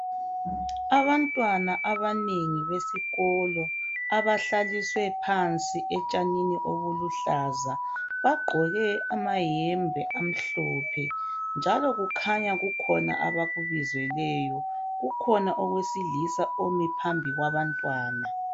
Abantwana abanengi besikolo abahlaliswe phansi etshanini obuluhlaza bagqoke amayembe amhlophe njalo kukhanya kukhona abakubizelweyo kukhona owesilisa omi phambi kwabantwana